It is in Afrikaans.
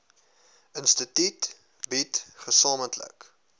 instituut bied gesamentlik